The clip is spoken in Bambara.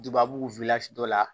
Dubabu dɔ la